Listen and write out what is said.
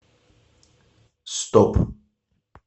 стоп